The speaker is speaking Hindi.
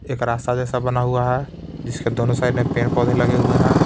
एक रास्ता जैसा बना हुआ है जिसके दोनों साइड में पेड़-पौधे लगे हुए हैं.